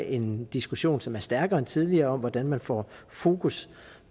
en diskussion som er stærkere end tidligere om hvordan man får fokus